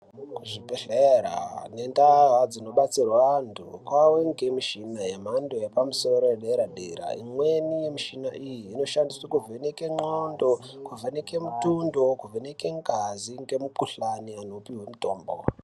Kuzvibhedhlera nentaa dzinobatsirwa antu kwave ngemishina yamhando yepamusoro yedera-dera. Imweni yemishina iyi, inoshandiswe kuvheneke ndxondo, kuvhenekwe mutundo, kuvheneke ngazi, ngemikhuhlani wopihwe mitombo.